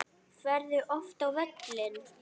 Ferðu oft á völlinn?